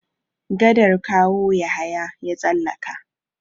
Gadar Kawo Yahaya ya tsallaka.